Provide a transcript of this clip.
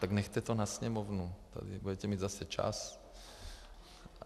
Tak nechte to na Sněmovnu, tady budete mít zase čas.